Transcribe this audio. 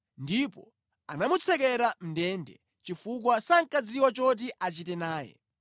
ndipo anamutsekera mʼndende chifukwa sankadziwa choti achite naye.